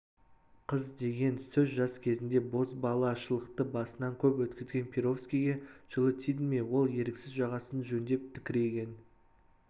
қыз деген сөз жас кезінде бозбалашылықты басынан көп өткізген перовскийге жылы тиді ме ол еріксіз жағасын жөндеп тікірейген